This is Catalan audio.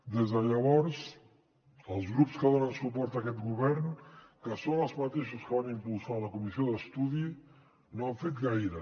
des de llavors els grups que donen suport a aquest govern que són els mateixos que van impulsar la comissió d’estudi no han fet gaire